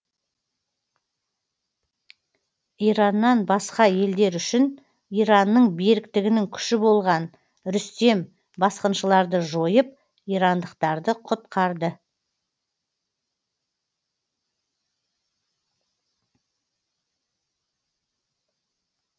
ираннан басқа елдер үшін иранның беріктігінің күші болған рүстем басқыншыларды жойып ирандықтарды құтқарды